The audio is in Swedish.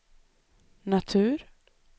natur